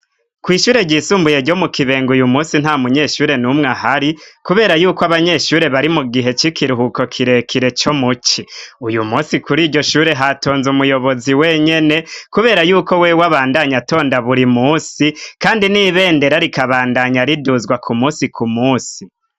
kwishure gyisumbuye ryo mu kibenga uyu munsi nta munyeshure n'umwe ahari kubera yuko abanyeshure bari mu gihe c'ikiruhuko kirekire co muci uyu munsi kuri iryo shure hatonze umuyobozi wenyene kubera yuko we wabandanya atonda buri munsi kandi n'ibendera rikabandanya riduzwa ku musi ku musi